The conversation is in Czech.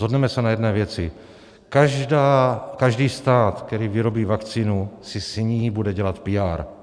Shodneme se na jedné věci: každý stát, který vyrobí vakcínu, si s ní bude dělat PR.